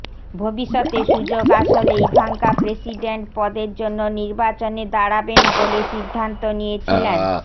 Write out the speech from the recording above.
ভবিষ্যতে সুযোগ আসলে ইভাঙ্কা প্রেসিডেন্ট পদের জন্য নির্বাচনে দাঁড়াবেন বলে সিদ্ধান্ত নিয়েছিলেন